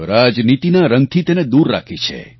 રાજનીતિના રંગથી તેને દૂર રાખી છે